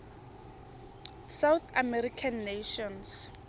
south american nations